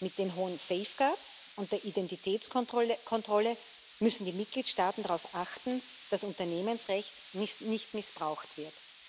Mit den hohen safeguards und der Identitätskontrolle müssen die Mitgliedstaaten darauf achten, dass Unternehmensrecht nicht missbraucht wird.